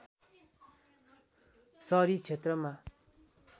सहरी क्षेत्रमा